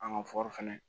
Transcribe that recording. An ka fɛnɛ